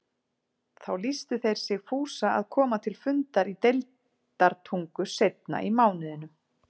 Þá lýstu þeir sig fúsa að koma til fundar í Deildartungu seinna í mánuðinum.